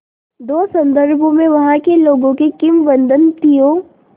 दो संदर्भों में वहाँ के लोगों की किंवदंतियों